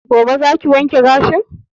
Gobe za ki wanke gashin?